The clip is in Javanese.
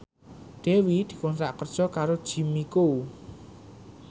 Dewi dikontrak kerja karo Jimmy Coo